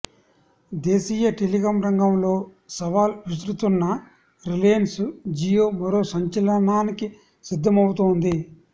దేశీయ టెలికాం రంగంలో సవాల్ విసురుతున్న రిలయన్స్ జియో మరో సంచలనానికి సిద్ధమవుతోంది